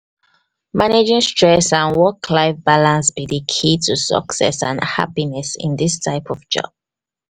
managing stress and work-life balance be di key to success and happiness in dis type of job.